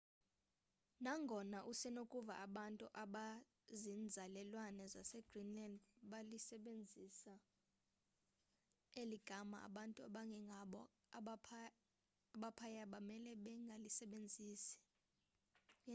nangona usenokuva abantu abazinzalelwane zasegreenland belisebenzisa eli gama abantu abangengabo abaphaya bamele bangalisebenzisi